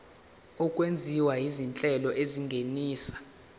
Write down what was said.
okwenziwa izinhlelo ezingenisa